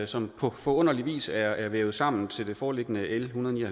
som på forunderlig vis er vævet sammen til det foreliggende l en hundrede og